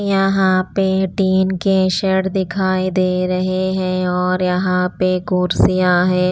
यहाँ पे टीन के शर्ट दिखाई दे रहे हैं और यहाँ पे कुर्सियां हैं।